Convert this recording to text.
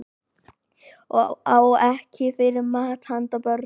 Á ekki fyrir mat handa börnunum